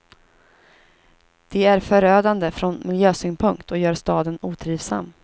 De är förödande från miljösynpunkt och gör staden otrivsam.